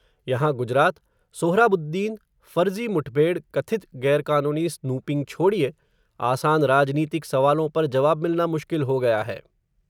यहाँ गुजरात, सोहराबुद्दीन, फ़र्ज़ी मुठभेड़, कथित ग़ैरकानूनी स्नूपिंग छोड़िए, आसान राजनीतिक सवालों पर जवाब मिलना मुश्किल हो गया है.